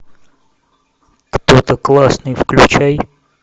кто то классный включай